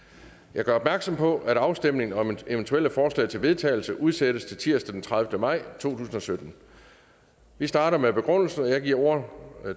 jeg gør opmærksom på at afstemning om eventuelle forslag til vedtagelse udsættes til tirsdag den tredivete maj to tusind og sytten vi starter med begrundelsen og jeg giver ordet